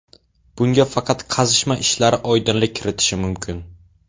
Bunga faqat qazishma ishlari oydinlik kiritishi mumkin.